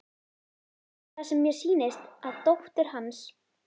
Er það sem mér sýnist að dóttir hans